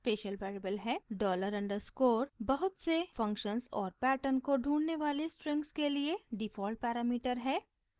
$_ dollar underscore बहुत से functions और पैटर्न को ढूँढने वाले स्ट्रिंग्स के लिए डिफ़ॉल्ट पैरामीटर है